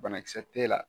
Banakisɛ t'e la